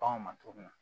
Baganw ma cogo min na